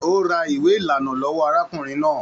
O rà ìwé ìlànà lọwọ arákùnrin náà.